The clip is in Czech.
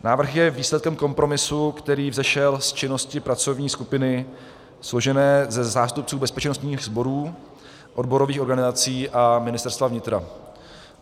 Návrh je výsledkem kompromisu, který vzešel z činnosti pracovní skupiny složené ze zástupců bezpečnostních sborů, odborových organizací a Ministerstva vnitra.